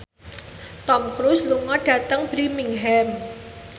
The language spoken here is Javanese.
Tom Cruise lunga dhateng Birmingham